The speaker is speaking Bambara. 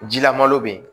Jilama bɛ yen